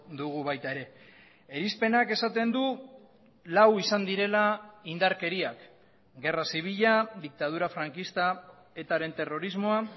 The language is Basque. dugu baita ere irizpenak esaten du lau izan direla indarkeriak gerra zibila diktadura frankista etaren terrorismoa